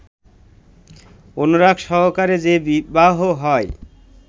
অনুরাগ সহকারে যে বিবাহ হয়